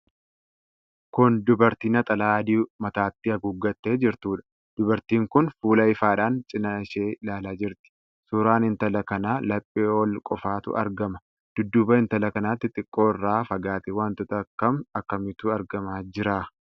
Kun dubartii Naxalaa adii mataatti haguuggattee jirtuudha. Dubartiin kun fuula ifaadhaan cinaa ishee ilaalaa jirti. Suuraan intala kanaa laphee ol qofatu argama. Dudduuba intala kanaatti xiqqoo irraa fagaatee wantooota akkam akkamiitu argamaa jira?